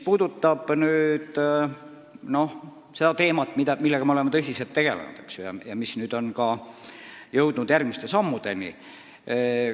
Aga me oleme teemaga tõsiselt tegelenud ja oleme nüüd jõudnud järgmiste sammudeni.